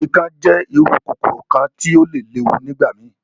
Ikán jẹ iru kokoro kan ti o le lewu nigbamii.